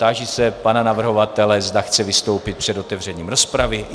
Táži se pana navrhovatele, zda chce vystoupit před otevřením rozpravy.